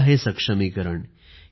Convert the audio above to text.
हे आहे सक्षमीकरण